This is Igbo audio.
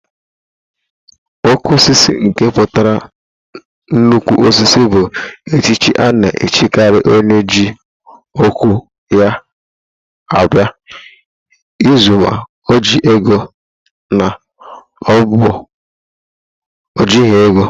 Oké Osisi nke pụtara nnukwu osisi bụ echichi a na-echikari onye eji okwu ya agba izu ma o ji ego ma o jighị ego.